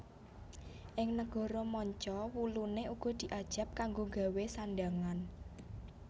Ing negara manca wuluné uga diajab kanggo gawé sandhangan